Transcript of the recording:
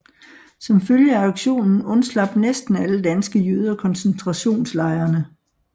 Som følge af aktionen undslap næsten alle danske jøder koncentrationslejrene